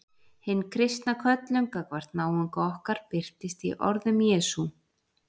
Hin kristna köllun gagnvart náunga okkar birtist í orðum Jesú.